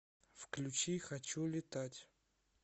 включи хочу летать